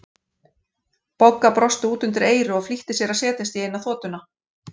Bogga brosti út undir eyru og flýtti sér að setjast í eina þotuna.